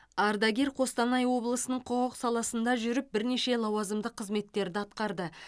ардагер қостанай облысының құқық саласында жүріп бірнеше лауазымды қызметтерді атқарды